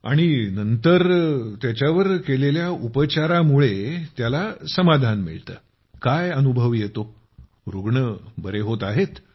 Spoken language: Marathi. आणि नंतर त्याच्यावर उपचार केल्यावर त्याला संतोष प्राप्त होतो काय अनुभव येतो रूग्ण बरे होत आहेत